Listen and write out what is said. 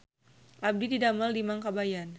Abdi didamel di Mang Kabayan